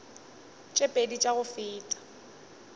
tše pedi tša go feta